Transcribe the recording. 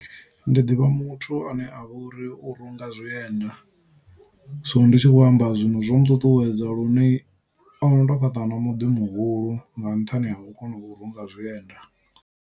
Ndi ḓivha muthu ane avha uri u runga zwienda so ndi tshi khou amba zwino zwo muṱuṱuwedza lune ono to fhaṱa na muḓi muhulu nga nṱhani ha u kona u runga zwienda.